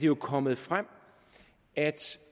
jo kommet frem at